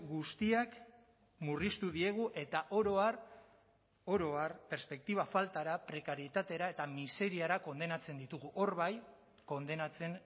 guztiak murriztu diegu eta oro har oro har perspektiba faltara prekarietatera eta miseriara kondenatzen ditugu hor bai kondenatzen